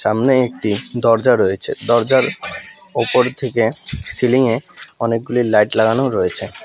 সামনে একটি দরজা রয়েছে দরজার ওপর থেকে সিলিং -এ অনেকগুলি লাইট লাগানো রয়েছে।